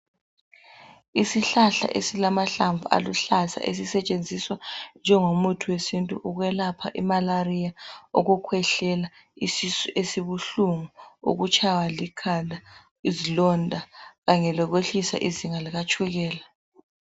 Isihlahla esilamahlamvu aluhlaza esisetshenziswa njengomuthi wesintu ukwelapha imalariya, ukukhwehlela, isisu esibuhlungu, izilonda Kanye lokwehlisa izinga likatshukela.